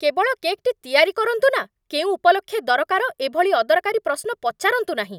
କେବଳ କେକ୍‌ଟି ତିଆରି କରନ୍ତୁ ନା, କେଉଁ ଉପଲକ୍ଷେ ଦରକାର, ଏ ଭଳି ଅଦରକାରୀ ପ୍ରଶ୍ନ ପଚାରନ୍ତୁ ନାହିଁ।